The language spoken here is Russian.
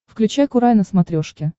включай курай на смотрешке